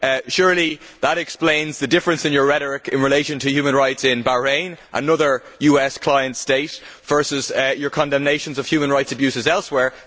Surely that explains the difference in your rhetoric in relation to human rights in Bahrain another US client state and your condemnations of human rights abuses elsewhere.